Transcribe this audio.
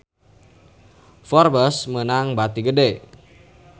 Forbes meunang bati gede